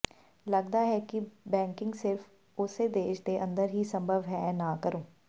ਲੱਗਦਾ ਹੈ ਕਿ ਬੈਕਿੰਗ ਸਿਰਫ ਉਸੇ ਦੇਸ਼ ਦੇ ਅੰਦਰ ਹੀ ਸੰਭਵ ਹੈ ਨਾ ਕਰੋ